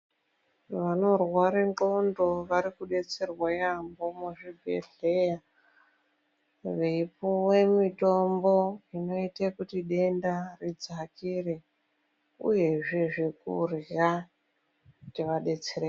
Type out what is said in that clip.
Vanorware ndxondo varikudetserwa yamho muzvibhehleya. Veipuwe mitombo inoite kuti denda ridzakire uyezve zvekurya kuti vadetsereke.